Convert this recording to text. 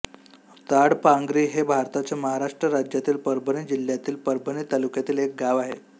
ताडपांगरी हे भारताच्या महाराष्ट्र राज्यातील परभणी जिल्ह्यातील परभणी तालुक्यातील एक गाव आहे